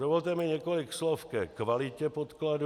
Dovolte mi několik slov ke kvalitě podkladu.